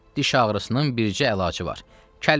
Diş ağrısının bircə əlacı var: kəlbətin.